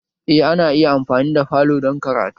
Eh ana iya amfani da falo dan karatu